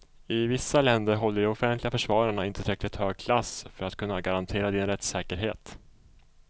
I vissa länder håller de offentliga försvararna inte tillräckligt hög klass för att kunna garantera din rättssäkerhet.